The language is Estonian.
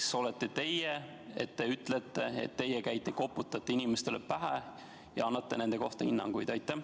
Ja kes olete teie, et te ütlete, et teie käite, koputate inimestele vastu pead ja annate nende kohta hinnanguid?